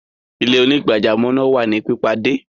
Ilẹ̀-onígbàjàmọ́ naa wà ni pipadẹ.